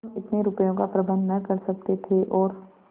हम इतने रुपयों का प्रबंध न कर सकते थे और